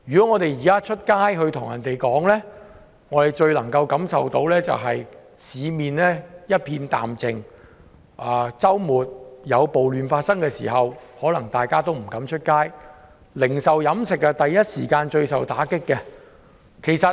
我們現時外出最能夠感受到的，是市面一片淡靜，在周末暴亂期間，大家都不敢外出，零售、飲食業首當其衝。